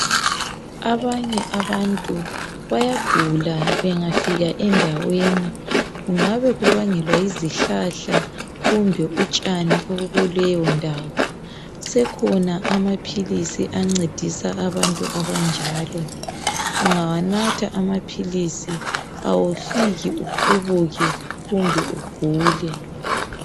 Abanye abantu bayagula bengafika endaweni kungabe kubangelwa yizihlahla kumbe utshani obukuleyo ndawo sekhona amaphilisi ancedisa abantu abanjalo ungawanatha amaphilisi awufiki uqhubuke kumbe ugule .